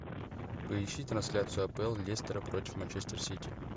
поищи трансляцию апл лестера против манчестер сити